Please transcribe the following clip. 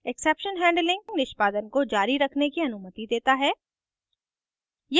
exception handling निष्पादन को जारी रखने की अनुमति देता है